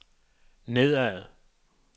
nedad